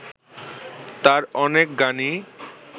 তাঁর অনেক গানই